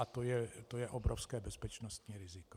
A to je obrovské bezpečnostní riziko.